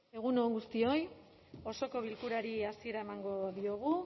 egun on guztioi osoko bilkurari hasiera emango diogu